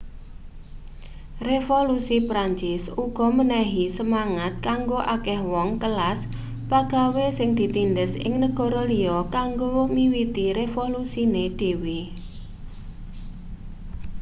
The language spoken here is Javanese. revolusi prancis uga menehi semangat kanggo akeh wong kelas pagawe sing ditindhes ing negara liya kanggo miwiti revolusine dhewe